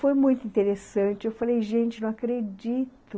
Foi muito interessante, eu falei, gente, não acredito.